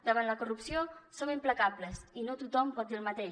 davant la corrupció som implacables i no tothom pot dir el mateix